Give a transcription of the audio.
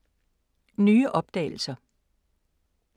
Nye opdagelser